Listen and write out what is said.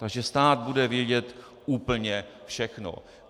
Takže stát bude vědět úplně všechno.